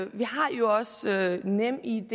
vi har jo også nemid